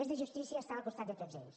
és de justícia estar al costat de tots ells